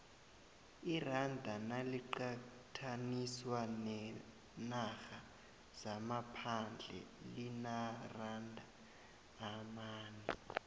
iranda naliqathaniswa neenarha zangaphandle limaranda amane